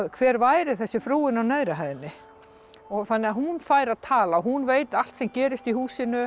hver væri þessi frúin á neðri hæðinni þannig að hún fær að tala hún veit allt sem gerist í húsinu